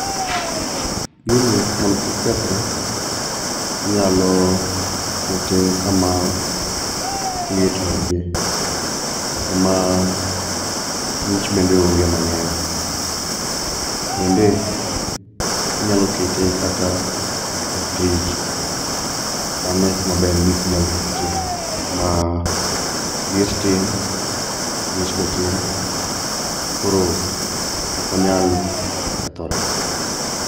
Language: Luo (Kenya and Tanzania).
Gini mondo kik kethre, inyalo kete kama liet onge, kama ng'ich bende onge mang'eny. Bende, inyalo kete kata e frij, mane kumaber mogik minyalokete. Ma liet tin ng'ich be tin, koro okonyal kethore.